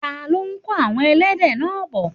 ta ló kó àwon ẹlẹ́dẹ̀ náà bọ̀?